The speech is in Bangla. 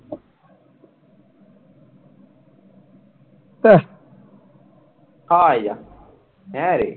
হ্যাঁরে